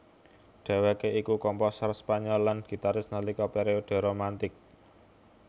Dheweké iku komposer Spanyol lan gitaris nalika periode Romantic